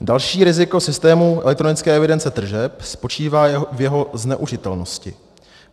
Další riziko systému elektronické evidence tržeb spočívá v její zneužitelnosti.